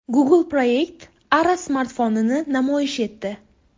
Google Project Ara smartfonini namoyish etdi .